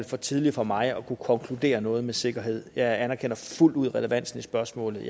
for tidligt for mig at kunne konkludere noget med sikkerhed jeg anerkender fuldt ud relevansen i spørgsmålet